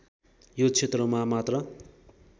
यो क्षेत्रमा मात्र